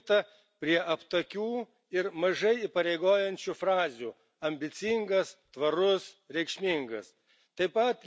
O buvo pasilikta prie aptakių ir mažai įpareigojančių frazių ambicingas, tvarus, reikšmingas.